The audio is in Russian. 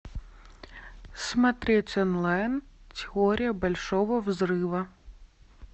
смотреть онлайн теория большого взрыва